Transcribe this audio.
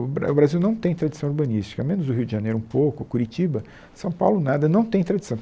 O Bra o Brasil não tem tradição urbanística, menos o Rio de Janeiro um pouco, Curitiba, São Paulo nada, não tem tradição.